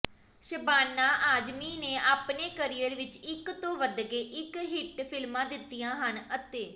ਸ਼ਬਾਨਾ ਆਜ਼ਮੀ ਨੇ ਆਪਣੇ ਕਰੀਅਰ ਵਿੱਚ ਇੱਕ ਤੋਂ ਵਧਕੇ ਇੱਕ ਹਿੱਟ ਫਿਲਮਾਂ ਦਿੱਤੀਆਂ ਹਨ ਅਤੇ